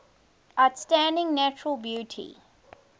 outstanding natural beauty